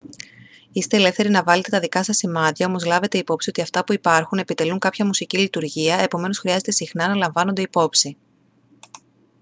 είστε ελεύθεροι να βάλετε τα δικά σας σημάδια όμως λάβετε υπόψη ότι αυτά που υπάρχουν επιτελούν κάποια μουσική λειτουργία επομένως χρειάζεται συχνά να λαμβάνονται υπόψη